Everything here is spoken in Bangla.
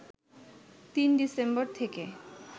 ৩ ডিসেম্বর থেকে